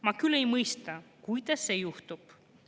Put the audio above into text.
Ma küll ei mõista, kuidas see juhtub.